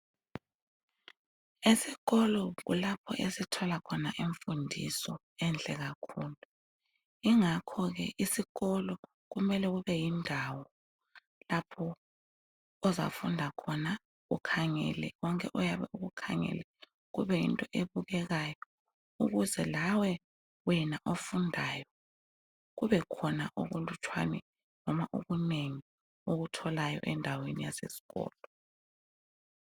Ezikolo kulapho esithola khona imfundiso enhle kakhulu, ingakhoke isikolo kumele kube yindawo lapho ozafunda khona ukhangele konke oyabe ukukhangele kube yinto ebukekayo ukuze lawe wena ofundayo ubekhona okulutshwane noma okunengi okutholayo endaweni yasesikolo.